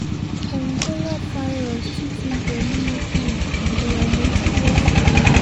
kòǹgóláfàírósì tún ti gbẹ̀mí um èèyàn méjì lọ́sùn